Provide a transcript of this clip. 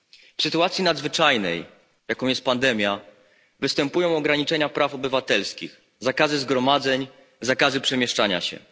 W sytuacji nadzwyczajnej, jaką jest pandemia, występują ograniczenia praw obywatelskich, zakazy zgromadzeń, zakazy przemieszczania się.